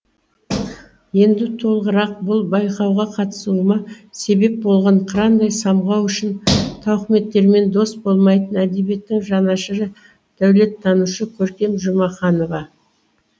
енді толығырақ бұл байқауға қатысуыма себеп болған қырандай самғау үшін тауықыметтермен дос болмайтын әдебиеттің жанашыры дәулеттанушы көркем жұмаханова